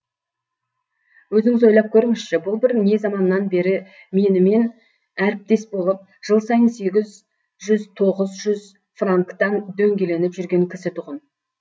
өзіңіз ойлап көріңізші бұл бір не заманнан бері менімен әріптес болып жыл сайын сегіз жүз тоғыз жүз франктан дөңгеленіп жүрген кісі тұғын